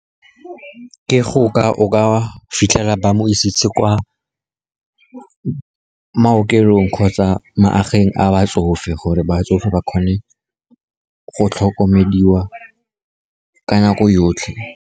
O ka fitlhela ba mo isitse kwa maokelong kgotsa magaeng a batsofe, gore batsofe ba kgone go tlhokomediwa ka nako yotlhe.